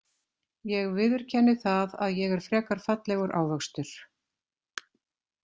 Ég viðurkenni það að ég er frekar fallegur ávxöxtur.